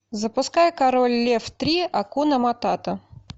запускай король лев три акуна матата